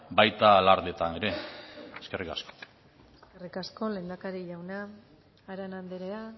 baita alardeetan ere eskerrik asko eskerrik asko lehendakari jauna arana andrea